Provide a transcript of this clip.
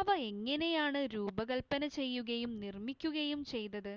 അവ എങ്ങനെയാണ് രൂപകൽപ്പന ചെയ്യുകയും നിർമ്മിക്കുകയും ചെയ്തത്